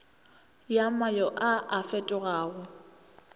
ya mayo a a fetogago